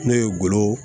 Ne ye golo